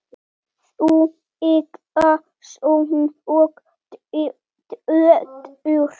Þau eiga son og dóttur.